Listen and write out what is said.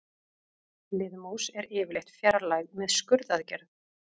Liðmús er yfirleitt fjarlægð með skurðaðgerð.